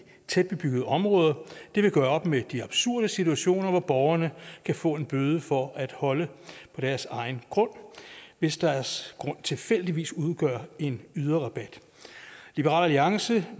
tætbebyggede områder det vil gøre op med de absurde situationer hvor borgerne kan få en bøde for at holde på deres egen grund hvis deres grund tilfældigvis udgør en yderrabat liberal alliance